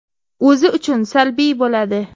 O‘zi uchun salbiy bo‘ladi.